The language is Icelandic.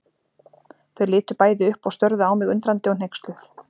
Þau litu bæði upp og störðu á mig undrandi og hneyksluð.